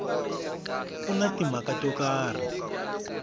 ku na timhaka to karhi